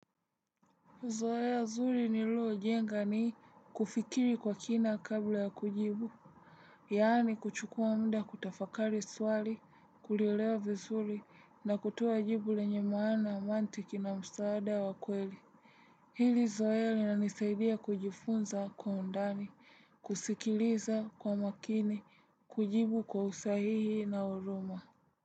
Zoea nzuri nililojenga ni kufikiri kwa kina kabla ya kujibu. Yani kuchukua muda kutafakari swali, kuliewa vizuri na kutoa jibu lenye maana, mantiki na msaada wa kweli. Hili zoea linanisaidia kujifunza kwa undani, kusikiliza kwa makini, kujibu kwa usahihi na huruma.